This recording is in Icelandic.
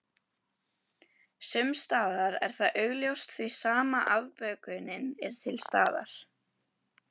Sumsstaðar er það augljóst því sama afbökunin er til staðar.